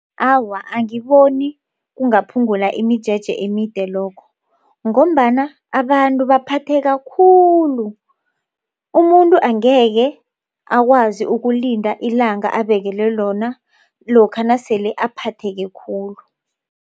Awa, angiboni kungaphungula imijeje emide lokho ngombana abantu baphatheka khulu. Umuntu angekhe akwazi ukulinda ilanga abekelwe lona lokha nasele aphatheke khulu.